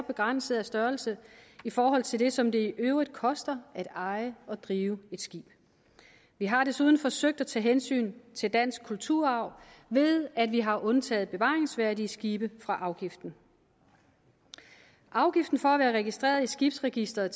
begrænset størrelse i forhold til det som det i øvrigt koster at eje og drive et skib vi har desuden forsøgt at tage hensyn til dansk kulturarv ved at vi har undtaget bevaringsværdige skibe fra afgiften afgiften for at være registreret i skibsregisteret